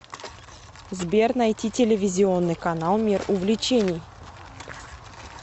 сбер найти телевизионный канал мир увлечений